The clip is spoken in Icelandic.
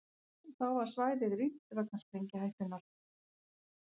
Þá var svæðið rýmt vegna sprengihættunnar